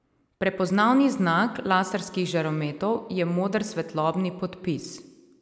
Prepoznavni znak laserskih žarometov je moder svetlobni podpis.